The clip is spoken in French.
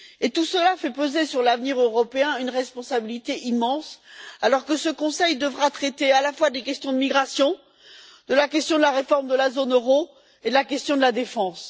Tout cela fait peser sur l'avenir européen une responsabilité immense alors que ce Conseil devra traiter à la fois des questions de migration, de la question de la réforme de la zone euro et de la question de la défense.